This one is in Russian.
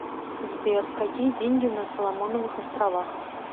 сбер какие деньги на соломоновых островах